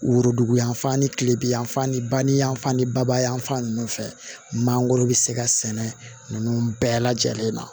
Woroduguyan fan ni kile bi yanfan ni ba ni yanfan ni babayananfan ninnu fɛ mangoro bɛ se ka sɛnɛ ninnu bɛɛ lajɛlen na